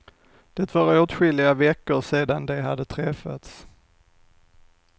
Det var åtskilliga veckor sedan de hade träffats.